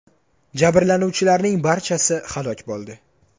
Jabrlanuvchilarning barchasi halok bo‘ldi.